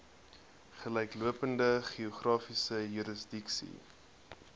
gelyklopende geografiese jurisdiksie